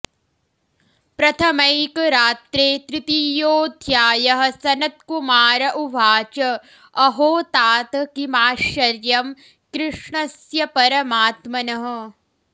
प्रथमैकरात्रे तृतीयोऽध्यायः सनत्कुमार उवाच अहो तात किमाश्चर्यं कृष्णस्य परमात्मनः